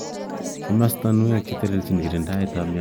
Kimostonwek cheteleljin kirindaet ab mnonwokik